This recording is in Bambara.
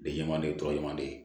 Denɲɛrɛnin tɔ ɲumanden